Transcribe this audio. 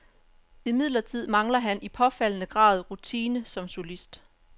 Imidlertid mangler han i påfaldende grad rutine som solist.